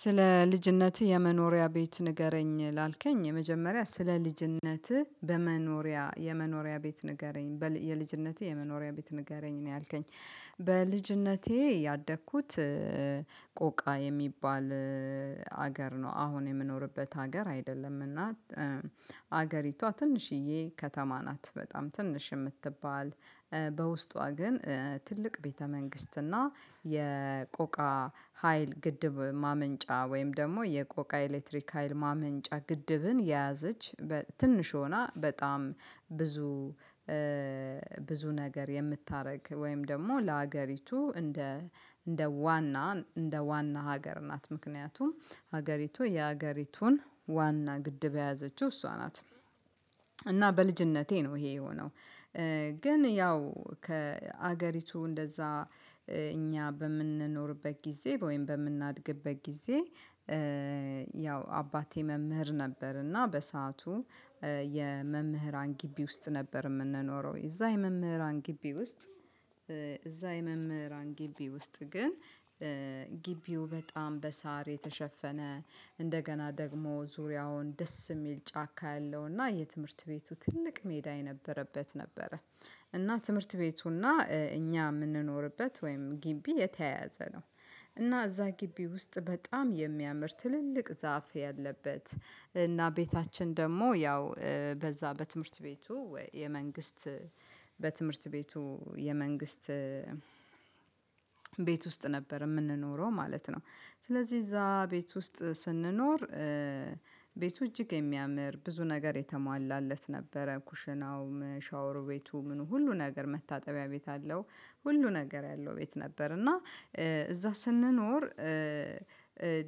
ስለ ልጅነትህ የመኖሪያ ቤት ንገረኝ ላልከኝ የመጀመሪያ ስለ ልጅነትህ በመኖሪያ የመኖሪያ ቤት ንገረኝ የልጅነቴ የመኖሪያ ቤት ንገረኝ ነው ያልከኝ። በልጅነቴ ያደግኩት ቆቃ የሚባል ሀገር ነው። አሁን የምኖርበት ሀገር አይደለም። እና አገሪቷ ትንሽዬ ከተማ ናት በጣም ትንሽ የምትባል። በውስጧ ግን ትልቅ ቤተ መንግስትና የቆቃ ሀይል ግድብ ማመንጫ ወይም ደግሞ የቆቃ ኤሌክትሪክ ሀይል ማመንጫ ግድብን የያዘች። ትንሽ ሆና በጣም ብዙ ብዙ ነገር የምታደርግ ወይም ደግሞ ለሀገሪቱ እንደ እንደ ዋና እንደ ዋና ሀገር ናት። ምክንያቱም ሀገሪቱ የሀገሪቱን ዋና ግድብ ያያዘችው እሷ ናት። እና በልጅነቴ ነው ይሄ የሆነው። ግን ያው ከሀገሪቱ እንደዛ እኛ በምንኖርበት ጊዜ ወይም በምናድግበት ጊዜ። ያው አባቴ መምህር ነበር። እና በሰአቱ የመምህራን ግቢ ውስጥ ነበር የምንኖረው የዛ የመምህራን ግቢ ውስጥ። እዛ የመምህራን ግቢ ውስጥ ግን ግቢው በጣም በሳር የተሸፈነ እንደገና ደግሞ ዙሪያውን ደስ የሚል ጫካ ያለው እና የትምህርት ቤቱ ትልቅ ሜዳ የነበረበት ነበረ። እና ትምህርት ቤቱ እና እኛ የምንኖርበት ወይም ግቢ የተያያዘ ነው። እና እዛ ግቢ ውስጥ በጣም የሚያምር ትልልቅ ዛፍ ያለበት እና ቤታችን ደግሞ ያው በዛ በትምህርት ቤቱ ወይ የመንግስት በትምህርት ቤቱ የመንግስት ቤት ውስጥ ነበር የምንኖረው ማለት ነው። ስለዚህ እዛ ቤት ውስጥ ስንኖር ቤቱ እጅግ የሚያምር ብዙ ነገር የተሟላለት ነበረ። ኩሽናውም ሻወር ቤቱም ሁሉ ነገር መታጠቢያ ቤት አለው። ሁሉ ነገር ያለው ቤት ነበር። እና እዛ ስንኖር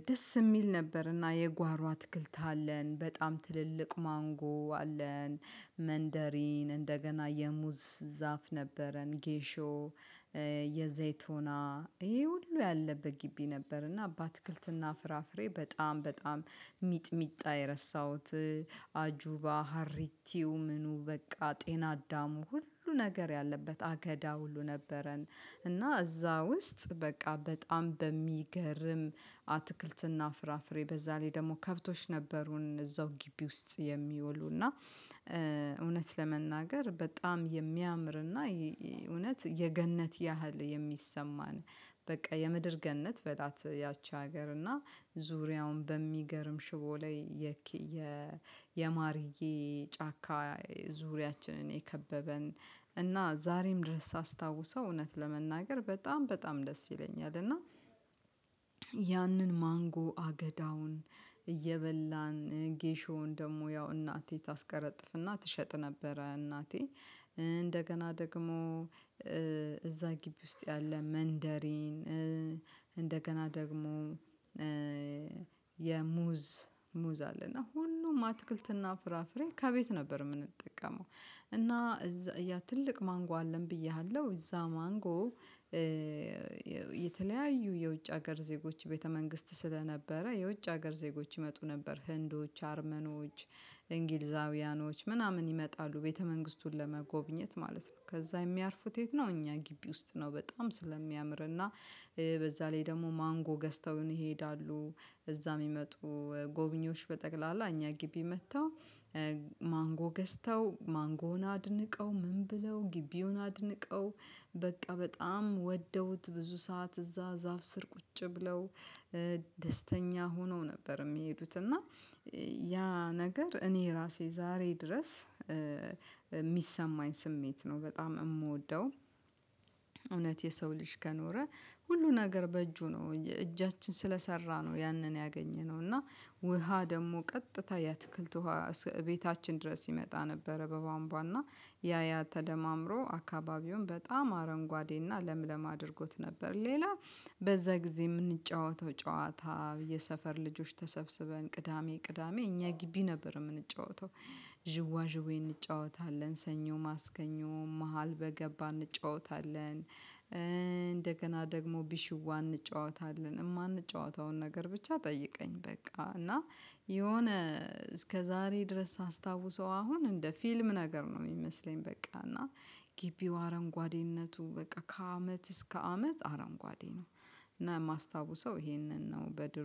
ደስ የሚል ነበር። እና የጓሮ አትክልት አለን በጣም ትልልቅ ማንጎ አለን መንደሪን እንደገና የሙዝ ዛፍ ነበረን ጌሾ። የዘይት ሆና ይሄ ሁሉ ያለበት ግቢ ነበር። እና በአትክልትና ፍራፍሬ በጣም በጣም ሚጥሚጣ የረሳሁት አጁባ ሀሪቲው ምኑ በቃ ጤና አዳሙ ሁሉ ነገር ያለበት አገዳ ሁሉ ነበረን። እና እዛ ውስጥ በቃ በጣም በሚገርም አትክልትና ፍራፍሬ በዛ ላይ ደግሞ ከብቶች ነበሩን እዛው ግቢ ውስጥ የሚውሉ እና። እውነት ለመናገር በጣም የሚያምርና እውነት የገነት ያህል የሚሰማን። በቃ የምድር ገነት በላት ያቺ ሀገር እና ዙሪያውን በሚገርም ሽቦ ላይ። የማርዬ ጫካ ዙሪያችንን የከበበን እና ዛሬም ድረስ ሳስታውሰው እውነት ለመናገር በጣም በጣም ደስ ይለኛል። እና ያንን ማንጎ አገዳውን እየበላን ጌሾን ደግሞ ያው እናቴ ታስቀረጥፍና ትሸጥ ነበረ እናቴ። እንደገና ደግሞ እዛ ግቢ ውስጥ ያለ መንደሬን ደግሞ። የሙዝ ሙዝ አለ እና ሁሉም አትክልትና ፍራፍሬ ከቤት ነበር የምንጠቀመው። እና እዛ ትልቅ ማንጎ አለን ብዬሃለሁ እዛ ማንጎ። የተለያዩ የውጭ ሀገር ዜጎች ቤተ መንግስት ስለነበረ የውጭ ሀገር ዜጎች ይመጡ ነበር ህንዶች አርመኖች እንግሊዛውያኖች ምናምን ይመጣሉ ቤተ መንግስቱን ለመጎብኘት ማለት ነው። ከዛ የሚያርፉት የት ነው እኛ ግቢ ውስጥ ነው በጣም ስለሚያምርና በዛ ላይ ደግሞ ማንጎ ገዝተውን ይሄዳሉ። እዛ የሚመጡ ጎብኚዎች በጠቅላላ እኛ ግቢ መጥተው። ማንጎ ገዝተው ማንጎን አድንቀው ምን ብለው ግቢውን አድንቀው በቃ በጣም ወደውት ብዙ ሰዓት እዛ ዛፍ ስር ቁጭ ብለው። ደስተኛ ሆነው ነበር የሚሄዱት እና። ያ ነገር እኔ ራሴ ዛሬ ድረስ የሚሰማኝ ስሜት ነው በጣም የምወደው። እውነት የሰው ልጅ ከኖረ። ሁሉን ሀገር በእጁ ነው እጃችን ስለሰራ ነው ያንን ያገኘነው እና። ውሃ ደግሞ ቀጥታ ያትክልት ውሃ ቤታችን ድረስ ሲመጣ ነበረ በቧንቧና ያያ ተደማምሮ አካባቢውን በጣም አረንጓዴና ለምለም አድርጎት ነበር። ሌላ በዛ ጊዜ የምንጫወተው ጨዋታ የሰፈር ልጆች ተሰብስበን ቅዳሜ ቅዳሜ እኛ ግቢ ነበር የምንጫወተው። ዥዋ ዥዌ እንጫወታለን ሰኞ ማስገኘው መሃል በገባ እንጫወታለን። እንደገና ደግሞ ቢሽዋ እንጨዋታለን የማንጨዋታውን ነገር ብቻ ጠይቀኝ በቃ እና። የሆነ እስከዛሬ ድረስ ሳስታውሰው አሁን እንደ ፊልም ነገር ነው የሚመስለኝ። በቃ እና ግቢው አረንጓዴነቱ በቃ ከአመት እስከ አመት አረንጓዴ ነው። እና የማስታውሰው ይሄንን ነው በድሮ